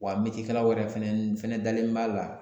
Wa kalan wɛrɛ fɛnɛ dalen b'a la